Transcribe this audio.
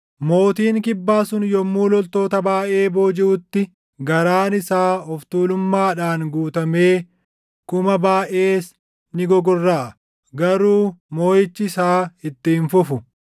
Mootiin Kibbaa sun yommuu loltoota baayʼee boojiʼutti garaan isaa of tuulummaadhaan guutamee kuma baayʼees ni gogorraʼa; garuu moʼichi isaa itti hin fufu.